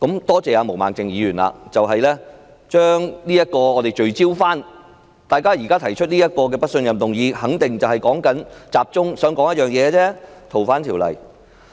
多謝毛孟靜議員把大家重新聚焦，讓大家知道提出這項不信任議案的原因必然旨在集中討論《逃犯條例》。